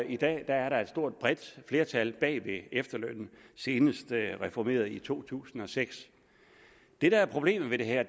i dag er der et stort bredt flertal bag efterlønnen senest blev reformeret i to tusind og seks det der er problemet her